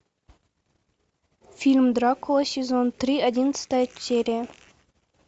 фильм дракула сезон три одиннадцатая серия